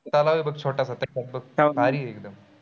तलाव आहे बघ छोटासा भारी आहे एकदम.